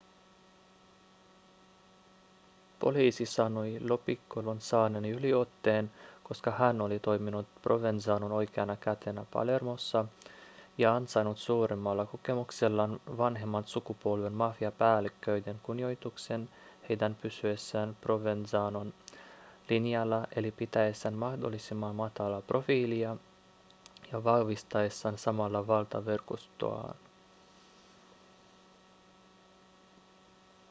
poliisi sanoi lo piccolon saaneen yliotteen koska hän oli toiminut provenzanon oikeana kätenä palermossa ja ansainnut suuremmalla kokemuksellaan vanhemman sukupolven mafiapäälliköiden kunnioituksen heidän pysyessään provenzanon linjalla eli pitäessään mahdollisimman matalaa profiilia ja vahvistaessaan samalla valtaverkostoaan